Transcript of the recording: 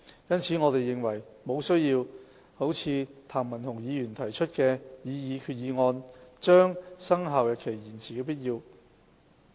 因此，我們認為沒需要如譚文豪議員提出的決議案，把生效日期延遲。